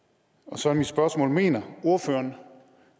så er mit spørgsmål mener ordføreren